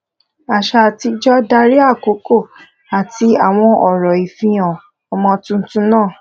àṣà àtijọ darí àkókò àti àwọn orò ìfihàn ọmọ tuntun náà